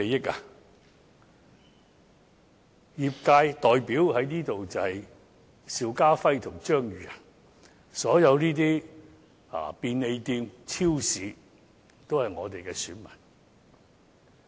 這裏的業界代表是邵家輝議員和我張宇人，所有便利店和超級市場也是我們的選民。